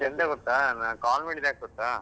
ಮತ್ತೆ ಎಂತ ಗೊತ್ತಾ ನಾನ್ call ಮಾಡಿದ್ ಯಾಕ್ ಗೊತ್ತಾ?